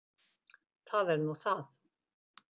Það er nú það.